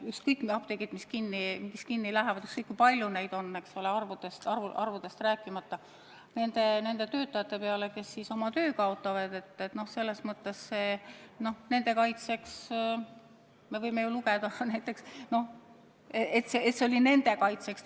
Ükskõik, kui paljud apteegid kinni lähevad, ükskõik, kui palju on arvuliselt neid töötajad, kes siis oma töö kaotavad – vahest selles mõttes võime selle aktsiooni lugeda nende kaitsmise ürituseks.